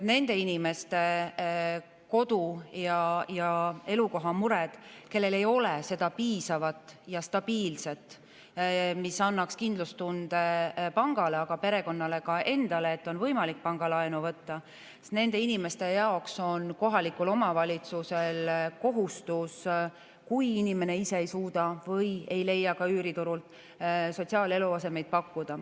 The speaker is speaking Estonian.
Nendele inimestele, kellel on kodu- ja eluasememured, aga ei ole piisavat ja stabiilset, mis annaks kindlustunde pangale ja ka perekonnale endale, et on võimalik pangalaenu võtta, on kohalikul omavalitsusel kohustus sotsiaaleluaset pakkuda, kui inimene ise ei suuda kodu leida, ei leia seda ka üüriturult.